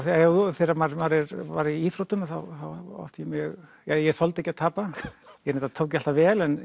þegar maður var í íþróttum þá átti ég mjög ég þoldi ekki að tapa ég reyndar tók því alltaf vel en